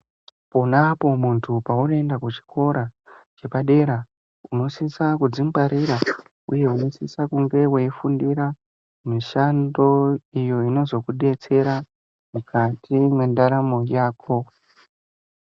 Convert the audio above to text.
Pona apo muntu paunoenda kuchikora chepadera unosisa kudzingwarira uye unosisa kunge weifundira mishando iyo inozokudetsera mukati mendaramo yako.